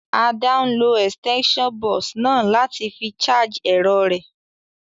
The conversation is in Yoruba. Ada n lo extension box náà láti fi charge èrọ rẹ́